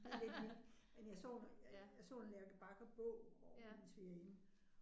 Ja det er det men jeg så jeg så en Lærke Bagger bog ovre ved min svigerinde